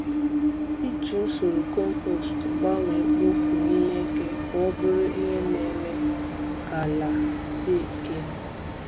Iji usoro compost gbanwee mkpofu ihe eke ka ọ bụrụ ihe na-eme ka ala sie ike.